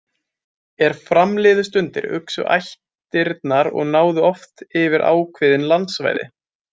Er fram liðu stundir uxu ættirnar og náðu oft yfir ákveðin landsvæði.